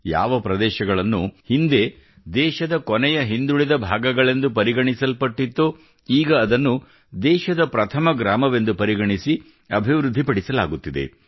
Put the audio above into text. ಯಾವ ಪ್ರದೇಶಗಳನ್ನು ಹಿಂದೆ ದೇಶದ ಕೊನೆಯ ಹಿಂದುಳಿದ ಭಾಗಗಳೆಂದು ಪರಿಗಣಿಸಲ್ಪಟ್ಟಿತ್ತೋ ಈಗ ಅದನ್ನು ದೇಶದ ಪ್ರಥಮ ಗ್ರಾಮವೆಂದು ಪರಿಗಣಿಸಿ ಅಭಿವೃದ್ಧಿ ಪಡಿಸಲಾಗುತ್ತಿದೆ